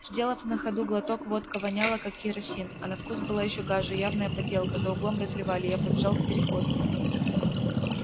сделав на ходу глоток водка воняла как керосин а на вкус была ещё гаже явная подделка за углом разливали я побежал к переходу